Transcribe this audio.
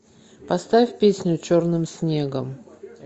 поставь песню черным снегом